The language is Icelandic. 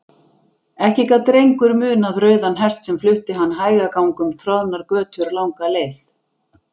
Ekki gat Drengur munað rauðan hest sem flutti hann hægagang um troðnar götur langa leið.